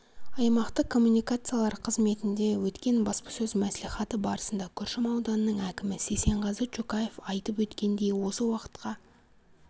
аймақтық коммуникациялар қызметінде өткен баспасөз мәслихаты барысында күршім ауданының әкімі сейсенғазы чукаев айтып өткендей осы уақытқа